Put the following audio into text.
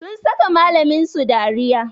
Sun saka malamin su dariya